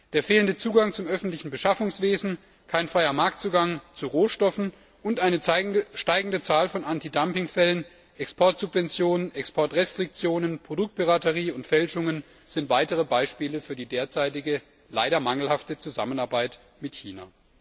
Der fehlende Zugang zum öffentlichen Beschaffungswesen, kein freier Marktzugang zu Rohstoffen und eine steigende Zahl von Antidumpingfällen, Exportsubventionen, Exportrestriktionen, Produktpiraterie und Fälschungen sind weitere Beispiele für die derzeitige leider mangelhafte Zusammenarbeit mit China.